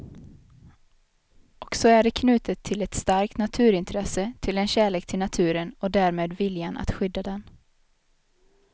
Och så är det knutet till ett starkt naturintresse, till en kärlek till naturen och därmed viljan att skydda den.